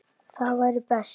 Það væri best.